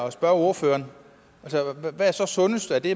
at spørge ordføreren hvad er så sundest er det